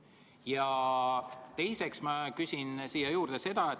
Ja teiseks ma küsin siia juurde.